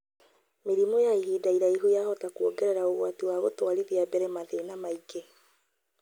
Mĩrimũ ya ihinda iraihu yahota kwongerera ũgwati wa gũtwarithia mbere mathĩna mangĩ,